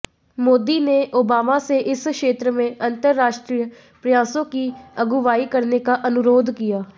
मोदी ने ओबामा से इस क्षेत्र में अंतरराष्ट्रीय प्रयासों की अगुवाई करने का अनुरोध किया